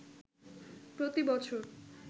প্রতি বছর